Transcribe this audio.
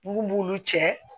Mun b'olu cɛ